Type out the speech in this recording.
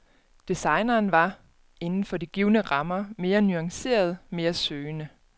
Designeren var, inden for de givne rammer, mere nuanceret, mere søgende.